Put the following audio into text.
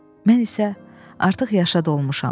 Mən isə artıq yaşa dolmuşam.